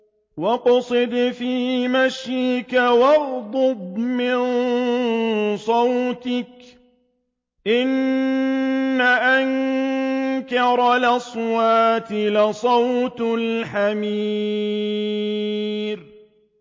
وَاقْصِدْ فِي مَشْيِكَ وَاغْضُضْ مِن صَوْتِكَ ۚ إِنَّ أَنكَرَ الْأَصْوَاتِ لَصَوْتُ الْحَمِيرِ